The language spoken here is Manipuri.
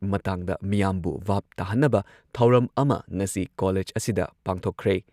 ꯃꯇꯥꯡꯗ ꯃꯤꯌꯥꯝꯕꯨ ꯚꯥꯕ ꯇꯥꯍꯟꯅꯕ ꯊꯧꯔꯝ ꯑꯃ ꯉꯁꯤ ꯀꯣꯂꯦꯖ ꯑꯁꯤꯗ ꯄꯥꯡꯊꯣꯛꯈ꯭ꯔꯦ ꯫